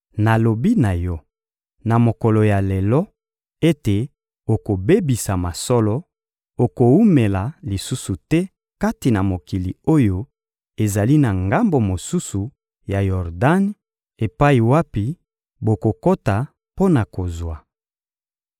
nalobi na yo, na mokolo ya lelo, ete okobebisama solo, okowumela lisusu te kati na mokili oyo ezali na ngambo mosusu ya Yordani, epai wapi bokokota mpo na kozwa.